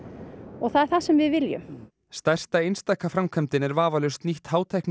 og það er það sem við viljum stærsta einstaka framkvæmdin er vafalaust nýtt